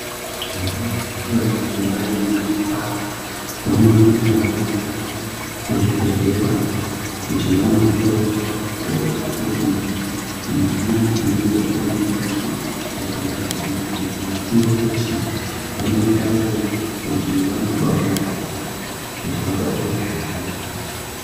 Vana mai vanenge vaine mimba vanoendawo kuzvibhedhlera kuti vanohloiwa kuti mwana unenge ari mundani mwavo wakagara zvakanaka ere uye futi vanoendayo kuti vanobarirayo kuti vabare zvakanaka.